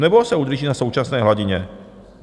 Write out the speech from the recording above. Nebo se udrží na současné hladině?